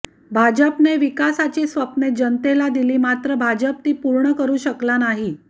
भाजपने विकासाची स्वप्ने जनतेला दिली मात्र भाजप ती पूर्ण करू शकला नाही